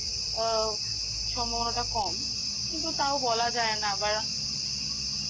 আ সম্ভাবনাটা কম কিন্তু তাও বলা যায় না আবার